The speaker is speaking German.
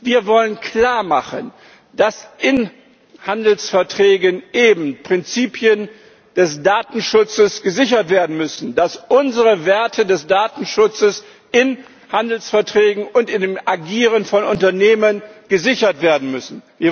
Wir wollen klarmachen, dass in Handelsverträgen eben Prinzipien des Datenschutzes gesichert werden müssen, dass unsere Werte des Datenschutzes in Handelsverträgen und in dem Agieren von Unternehmen gesichert werden müssen.